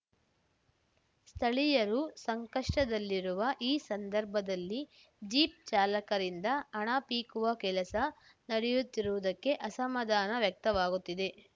ಸ್ಥಳೀಯರು ಸಂಕಷ್ಟದಲ್ಲಿರುವ ಈ ಸಂದರ್ಭದಲ್ಲಿ ಜೀಪ್‌ ಚಾಲಕರಿಂದ ಹಣ ಪೀಕುವ ಕೆಲಸ ನಡೆಯುತ್ತಿರುವುದಕ್ಕೆ ಅಸಮಾಧಾನ ವ್ಯಕ್ತವಾಗುತ್ತಿದೆ